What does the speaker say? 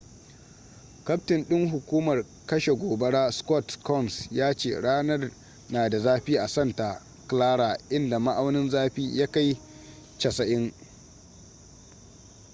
kaftin ɗin hukumar kashe gobara scott kouns ya ce ranar na da zafi a santa clara inda ma'aunin zafi ya kai 90